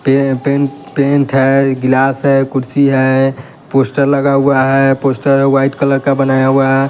पे पें पेंट है गिलास है कुर्सी है पोस्टर लगा हुआ है पोस्टर व्हाईट कलर का बनाया हुआ है।